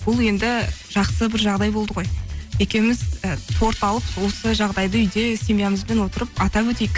бұл енді жақсы бір жағдай болды ғой екеуіміз і торт алып осы жағдайды үйде семьямызбен отырып атап өтейік